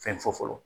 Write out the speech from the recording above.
Fɛn fɔ fɔlɔ